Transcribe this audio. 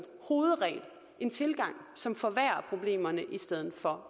hovedregel en tilgang som forværrer problemerne i stedet for